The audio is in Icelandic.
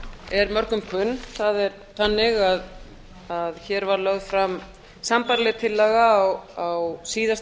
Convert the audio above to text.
er mörgum kunn það er þannig að hér var lögð fram sambærileg tillaga á síðasta